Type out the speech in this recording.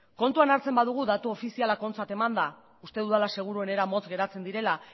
kontuan hartzen badugu datu ofizialak ontzat emanda uste dudala seguruenera motz geratzen direla